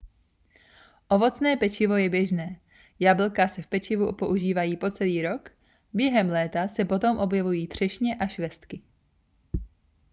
ovocné pečivo je běžné jablka se v pečivu používají po celý rok během léta se potom objevují třešně a švestky